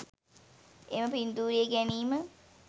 එම පින්තූරය ගැනීම